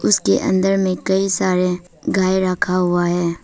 इसके अंदर में कई सारे गाय रखा हुआ है।